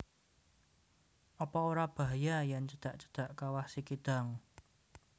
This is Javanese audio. Opo ora bahaya yen cedak cedak Kawah Sikidang?